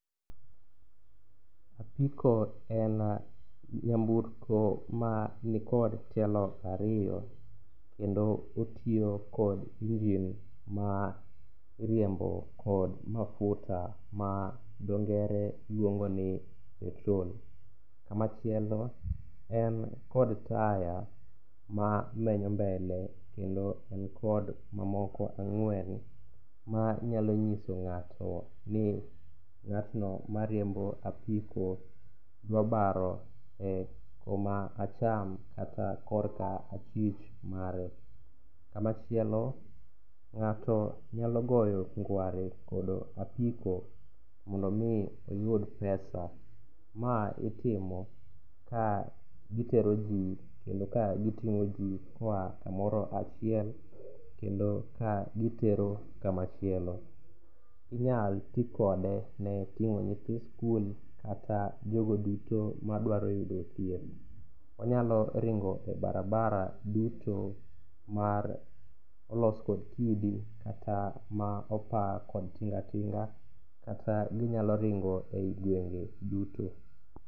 Apiko en nyamburko ma nikod tielo ariyo kendo otiyo kod engine ma iriembo kod mafuta ma dhongere luongo ni petrol. Kamachielo en kod taya mamenyo mbele kendo en kod mamoko ang'wen manyalo nyiso ng'ato ni ng'atno mariembo apiko dwa baro e kuma acham kata korka achich mare. Kamachielo ng'ato nyalo goyo ngware kod apiko mondo omi oyud pesa. Ma itimo ka gitero ji kendo ka giting'o ji koa kamoro achiel kendo ka gitero kamachielo. Inyalo ti kode ne ting'o nyithi skul kata jogo duto madwaro yudo thieth. Onyalo ringo e barabara duto ma olos kod kidi kata ma opa kod tinga tinga kata ginyalo ringo e gwenge duto.